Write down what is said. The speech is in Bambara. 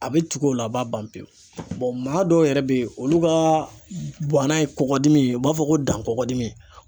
A bɛ tugu o la , a b'a ban pewu maa dɔw yɛrɛ bɛ yen olu ka bana ye kɔkɔdimi ye , u b'a fɔ ko dan kɔgɔdimi.